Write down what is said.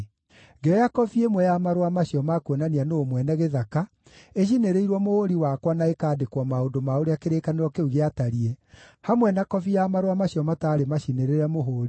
Ngĩoya kobi ĩmwe ya marũa macio ma kuonania nũũ mwene gĩthaka, ĩcinĩrĩirwo mũhũũri wakwa na ĩkandĩkwo maũndũ ma ũrĩa kĩrĩkanĩro kĩu gĩatariĩ, hamwe na kobi ya marũa macio mataarĩ macinĩrĩre mũhũũri,